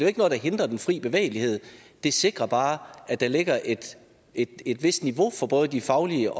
ikke noget der hindrer den fri bevægelighed det sikrer bare at der ligger et et vist niveau for både de faglige